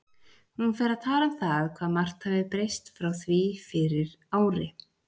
Hún fer að tala um það hvað margt hafi breyst frá því fyrir ári.